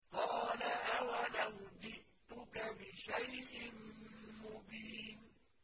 قَالَ أَوَلَوْ جِئْتُكَ بِشَيْءٍ مُّبِينٍ